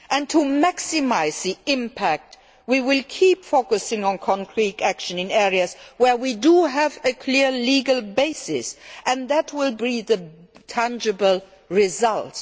To maximise the impact we will keep focusing on concrete action in areas where we do have a clear legal basis, and that will yield tangible results.